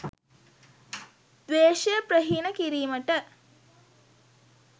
ද්වේශය ප්‍රහීණ කිරීමට